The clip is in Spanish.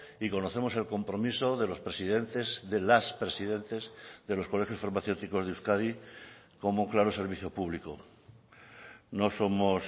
y conocemos el compromiso de los presidentes de las presidentes de los colegios farmacéuticos de euskadi como claro servicio público no somos